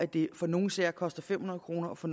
det for nogle sager koster fem hundrede kroner og for